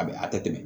A bɛ a tɛ tɛmɛ